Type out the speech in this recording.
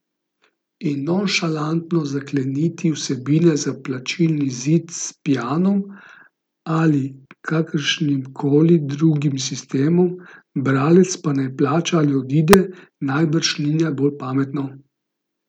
In nonšalantno zakleniti vsebine za plačilni zid s Pianom ali kakršnimkoli drugim sistemom, bralec pa naj plača ali odide, najbrž ni najbolj pametno.